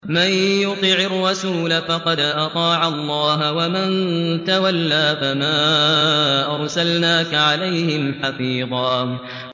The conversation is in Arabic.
مَّن يُطِعِ الرَّسُولَ فَقَدْ أَطَاعَ اللَّهَ ۖ وَمَن تَوَلَّىٰ فَمَا أَرْسَلْنَاكَ عَلَيْهِمْ حَفِيظًا